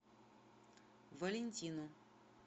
валентину